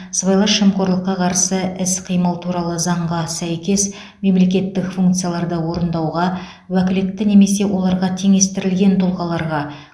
сыбайлас жемқорлыққа қарсы іс қимыл туралы заңға сәйкес мемлекеттік функцияларды орындауға уәкілетті немесе оларға теңестірілген тұлғаларға